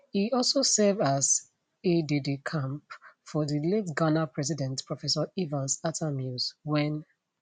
e also serve as aidedecamp for di late ghana president professor evans attamills wen